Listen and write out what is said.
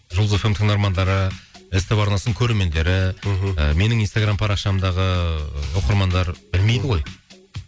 жұлдыз эф эм тыңдармандары ств арнасының көрермендері мхм менің инстаграмм парақшамдағы оқырмандар білмейді ғой